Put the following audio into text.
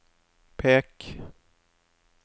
pek